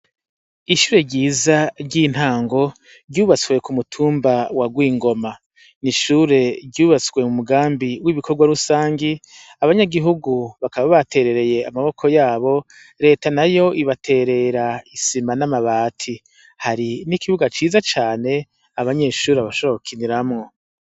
Ishure ryiza ry'intango ryubatswe k'umutumba wa gwingoma, n'ishure ryubatswe m'umugambi w'ibikorwarusangi. Abanyagihugu bakaba baterereye amaboko yabo reta nayo ibaterera isima n'amabati. Hari n'ikibuga ciza cane abanyeshuri bashobora gukiniramwo.